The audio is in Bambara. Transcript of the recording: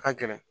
A ka gɛlɛn